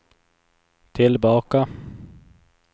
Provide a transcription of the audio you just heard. tillbaka